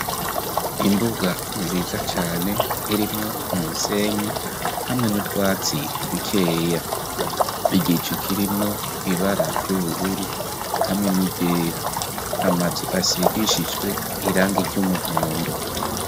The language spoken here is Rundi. Imbuga nziza cane irimwo umusenyi hamwe n'utwatsi dukeya. Igicu kirimwo ibara ry'ubururu hamwe n'iryera. Amazu asigishijwe iranga ry'umuhondo.